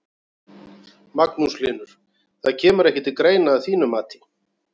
Magnús Hlynur: Það kemur ekki til greina að þínu mati?